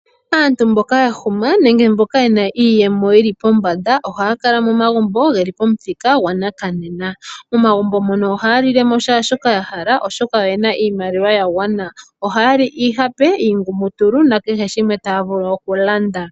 Aantu mboka yahuma nenge mboka yena iiyemo yili pombanda, ohaya kala momagumbo geli pomuthika gwanakanena. Momagumbo mono ohaya lilemo shaa shoka ya hala, oshoka oyena iimaliwa ya gwana. Ohaya li iihape, iingumutulu, nakehe shimwe taya vulu okulanda.